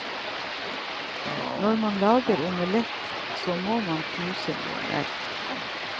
Når man lager omelett, så må man knuse noen egg.